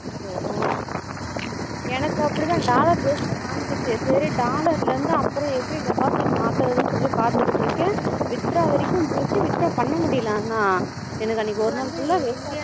oh oh எனக்கு அப்படிதான் dollar base ல காமிச்சிச்சு சரி dollar ல இருந்து அப்பறம் எப்படி deposit மாத்துறது சொல்லி பாத்துட்டு இருக்கேன் withdraw வரைக்கும் போச்சி withdraw பன்னா முடியல ஆனா எனக்கு அன்னைக்கு ஒரு நாள் full waste போச்சி